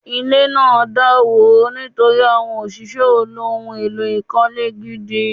Ile naa dàwó nítorí àwọn òṣìṣẹ́ ò lò ohun èlò ìkọ́lé gidi